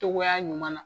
Togoya ɲuman na